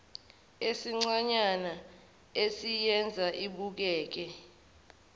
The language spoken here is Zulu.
esincanyana esiyenza ibukeke